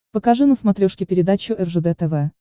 покажи на смотрешке передачу ржд тв